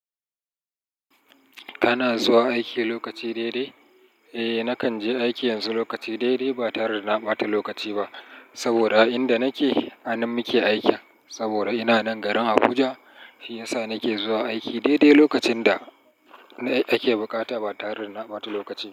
Kana zuwa aiki lokaci daidai? Eh, nakan je aiki yanzu lokaci daidai ba tare da na ɓata lokaci ba, saboda a inda nake hanan muke aiki. Saboda ina nan garin Abuja, shi yasa nake zuwa aiki daidai lokacin da ake buƙata ba tare da na ɓata lokaci ba.